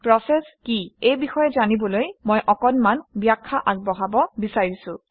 process কি এই বিষয়ে জনাবলৈ মই অকণমান ব্যাখ্যা আগবঢ়াব বিচাৰিছোঁ